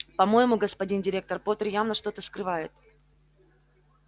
по-моему господин директор поттер явно что-то скрывает